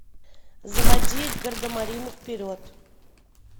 заводи гардемарины вперед